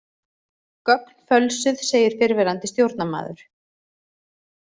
Gögn fölsuð segir fyrrverandi stjórnarmaður